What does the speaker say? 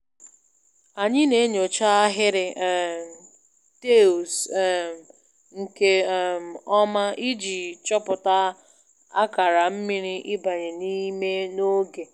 Anyị na-enyocha ahịrị um taịls um nke um ọma iji chọpụta akara mmiri ịbanye n'ime n'oge.